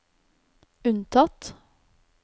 unntatt